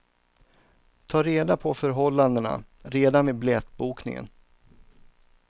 Tag reda på förhållandena redan vid biljettbokningen.